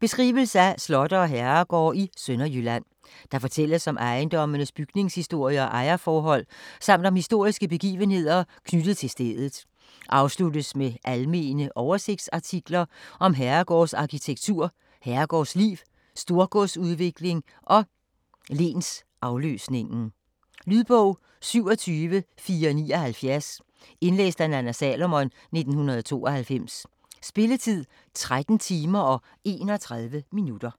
Beskrivelse af slotte og herregårde i Sønderjylland. Der fortælles om ejendommenes bygningshistorie og ejerforhold samt om historiske begivenheder knyttet til stedet. Afsluttes med almene oversigtsartikler om herregårdsarkitektur, herregårdsliv, storgodsudviklingen og lensafløsningen. Lydbog 27479 Indlæst af Nanna Salomon, 1992. Spilletid: 13 timer, 31 minutter.